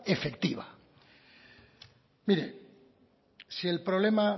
efectiva mire si el problema